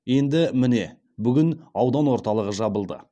енді міне бүгін аудан орталығы жабылды